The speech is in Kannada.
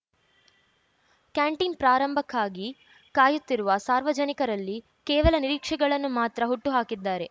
ಕ್ಯಾಂಟೀನ್‌ ಪ್ರಾರಂಭಕ್ಕಾಗಿ ಕಾಯುತ್ತಿರುವ ಸಾರ್ವಜನಿಕರಲ್ಲಿ ಕೇವಲ ನಿರೀಕ್ಷೆಗಳನ್ನು ಮಾತ್ರ ಹುಟ್ಟು ಹಾಕಿದ್ದಾರೆ